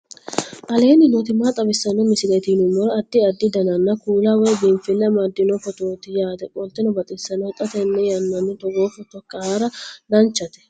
aleenni nooti maa xawisanno misileeti yinummoro addi addi dananna kuula woy biinfille amaddino footooti yaate qoltenno baxissannote xa tenne yannanni togoo footo haara danchate